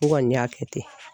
N kɔni y'a kɛ ten